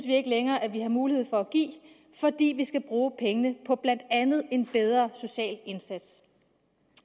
ikke længere mulighed for at give fordi man skal bruge pengene på blandt andet en bedre social indsats